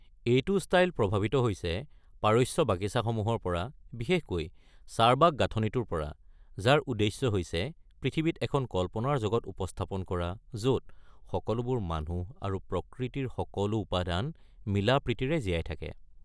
এইটো ষ্টাইল প্ৰভাৱিত হৈছে পাৰস্য বাগিচাসমূহৰ পৰা, বিশেষকৈ চাৰবাগ গাঁথনিটোৰ পৰা, যাৰ উদ্দেশ্য হৈছে পৃথিৱীত এখন কল্পনাৰ জগত উপস্থাপন কৰা, য’ত সকলোবোৰ মানুহ আৰু প্ৰকৃতিৰ সকলো উপাদান মিলা-প্ৰীতিৰে জীয়াই থাকে।